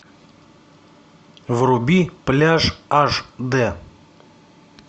вруби пляж аш дэ